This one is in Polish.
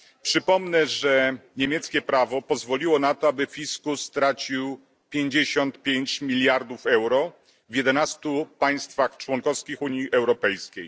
Przypomnę, że niemieckie prawo pozwoliło na to, aby fiskus stracił 55 miliardów euro w 11 państwach członkowskich Unii Europejskiej.